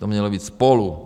To mělo být spolu.